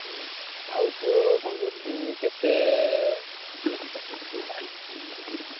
ହୁଁ ଆଉ ତୋ କଣ କହୁଥିଲି ତତେ।